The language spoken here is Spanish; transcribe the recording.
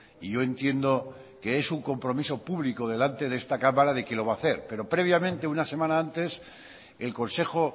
y yo entiendo que es un compromiso público delante de esta cámara de que lo va a hacer pero previamente una semana antes el consejo